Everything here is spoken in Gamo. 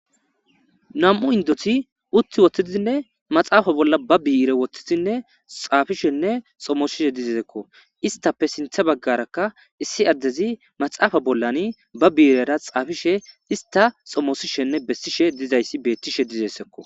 Nam'u indoti utti wottidizinne maxaafa bolla ba biire wottizinne xaafishenne xomosishe dizesekko istappe sintha baggarakka issi addezi maxaafa bollan ba biirera xaafishe ista xomosishenne bessishe dizayssi beettishe dizessekko.